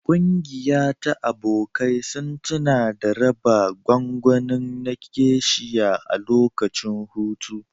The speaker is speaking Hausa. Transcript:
Ƙungiya ta abokai sun tuna da raba gwangwani na Geisha a lokacin hutu.